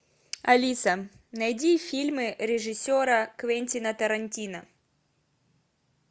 алиса найди фильмы режиссера квентина тарантино